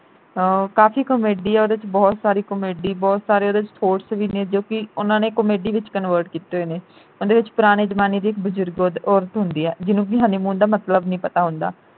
ਹਾਂ ਕਾਫੀ comedy ਐ ਉਹਦੇ ਵਿਚ ਬਹੁਤ ਸਾਰੀ comedy ਬਹੁਤ ਸਾਰੇ ਉਹਦੇ ਵਿਚ course ਵੀ ਨੇ ਜੋ ਕਿ ਉਨ੍ਹਾਂ ਨੇ comedy ਵਿਚ convert ਕੀਤੇ ਹੋਏ ਨੇ। ਉਹਦੇ ਵਿਚ ਪੁਰਾਣੇ ਜਮਾਨੇ ਦੀ ਇਕ ਬਜੁਰਗ ਔਰਤ ਔਰਤ ਹੁੰਦੀ ਐ ਜਿਹਨੂੰ ਕਿ honeymoon ਦਾ ਮਤਲਬ ਨਹੀਂ ਪਤਾ ਹੁੰਦਾ।